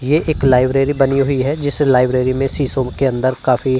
ये एक लाइब्रेरी बनी हुई है जिस लाइब्रेरी मे शीशों के अंदर काफी --